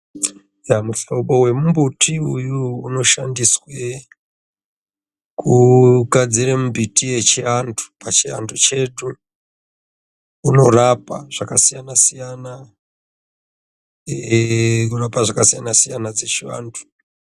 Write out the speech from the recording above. Muhlobo wemumbuti uyu unoshandiswe kugadzire mumbiti yechiantu pachiantu chetu unorapa zvakasiyana siyana eee unorapa zvakasiyana siyana dzechivantu.